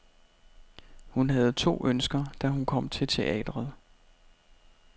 Hun havde to ønsker, da hun kom til teatret.